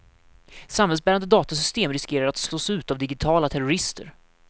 Samhällsbärande datasystem riskerar att slås ut av digitala terrorister.